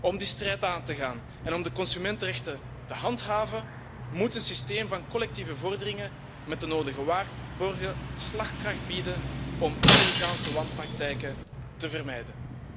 Om die strijd aan te gaan en om de consumentenrechten te handhaven, moet een systeem van collectieve vorderingen met de nodige waarborgen slagkracht bieden om Amerikaanse wanpraktijken te vermijden.